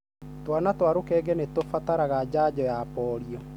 Twana twa rũkenge nĩ tũrabatara janjo ya polio.